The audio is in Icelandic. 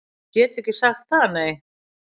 Ég get ekki sagt það, nei